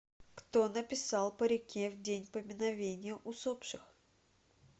кто написал по реке в день поминовения усопших